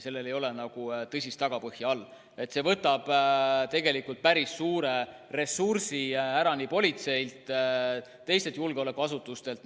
Sellel ei ole nagu tõsist tagapõhja ja see võtab tegelikult päris suure ressursi ära politseilt ja teistelt julgeolekuasutustelt.